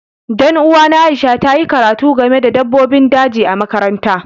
Dan uwana Aisha ta yi karatu game da dabbobin daji a makaranta.